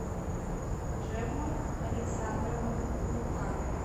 джемма александровна лука